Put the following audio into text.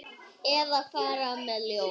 Eða fara með ljóð.